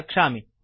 रक्षामि